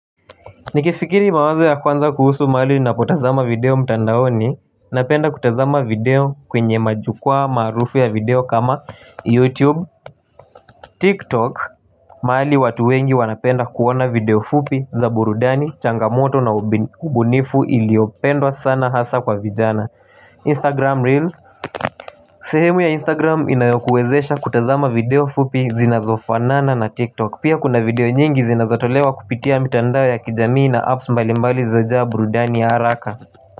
Nikifikiri mawazo ya kwanza kuhusu mahali ninapotazama video mtandaoni Napenda kutazama video kwenye majukuwaa maarufu ya video kama YouTube, TikTok mahali watu wengi wanapenda kuona video fupi za burudani, changamoto na ubunifu iliopendwa sana hasa kwa vijana Instagram Reels sehemu ya Instagram inayokuwezesha kutazama video fupi zinazofanana na TikTok Pia kuna video nyingi zinazotolewa kupitia mitandao ya kijamii na apps mbali mbali zilizojaa burudani ya haraka.